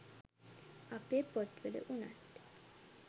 අපේ පොත්වල උනත්